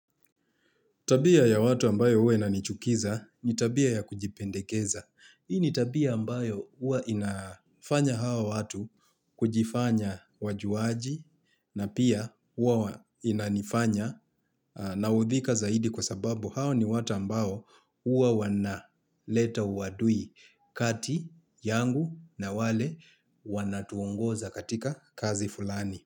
Tabia ya watu ambayo uwe nanichukiza ni tabia ya kujipendekeza. Hii ni tabia ambayo uwa inafanya hawa watu kujifanya wajuaji na pia uwa inanifanya na udhika zaidi kwa sababu hawa ni watu ambayo huwa wana leta uwadui kati yangu na wale wanatuongoza katika kazi fulani.